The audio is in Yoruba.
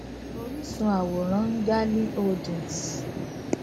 oríṣun àwòrán ngali holdings